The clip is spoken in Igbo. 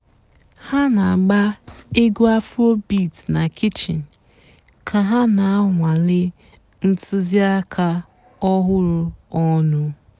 há nà-àgbà ègwú afróbeat nà kichín kà há nà-ànwálé ǹtụ́zìàkà ọ̀hụ́rụ́ ọnụ́.